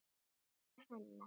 Kveðja, Hanna.